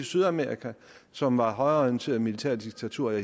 sydamerika som var højreorienterede militærdiktaturer i